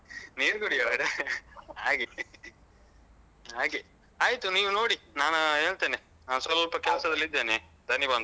ನೀರ್ ಕುಡಿಯುವವರಾ ಹಾಗೆ ಹಾಗೆ. ಆಯ್ತು ನೋಡಿ ನಾನು ಹೇಳ್ತೇನೆ ನಾನ್ ಸ್ವಲ್ಪ ಕೆಲಸದಲ್ಲಿ ಇದ್ದೇನೆ ಧಣಿ ಬಂದ್ರು.